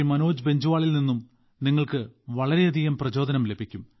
മനോജ് ബൻജ്വാളിൽനിന്നും നിങ്ങൾക്ക് വളരെയധികം പ്രചോദനം ലഭിക്കും